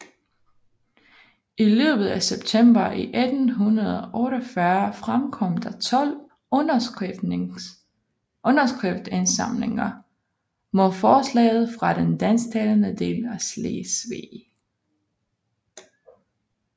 I løbet af september 1848 fremkom der tolv underskriftindsamlinger mod forslaget fra den dansktalende del af Slesvig